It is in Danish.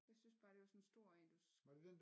Jeg synes bare det var sådan en stor en du